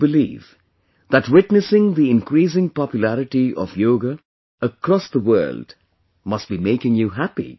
I do believe that witnessing the increasing popularity of Yoga across the world must be making you happy